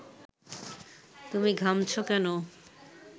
তুমি ঘামছ কেন